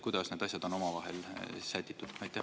Kuidas need asjad on omavahel sätitud?